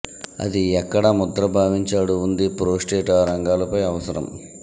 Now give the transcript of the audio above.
అది ఎక్కడ ముద్ర భావించాడు ఉంది ప్రోస్టేట్ ఆ రంగాలపై అవసరం